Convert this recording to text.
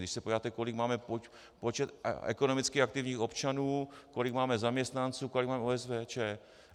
Když se podíváte, kolik máme počet ekonomicky aktivních občanů, kolik máme zaměstnanců, kolik máme OSVČ.